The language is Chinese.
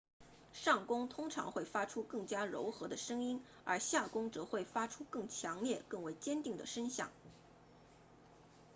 上弓通常会发出更加柔和的声音而下弓则会发出更强烈更为坚定的声响